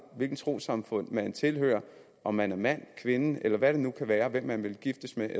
hvilket trossamfund man tilhører om man er mand kvinde eller hvem det nu kan være man vil giftes med